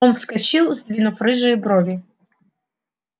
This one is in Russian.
он вскочил сдвинув рыжие брови